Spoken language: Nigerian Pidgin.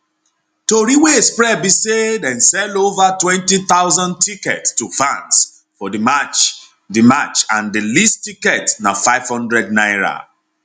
tori wey spread be say dem sell ova 20000 tickets to fans for di match di match and di least ticket na n500